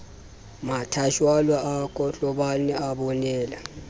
mathajwalo a kotlobane a bonela